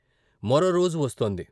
మరో రోజు వస్తోంది.